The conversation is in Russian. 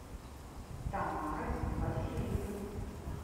тамары васильевны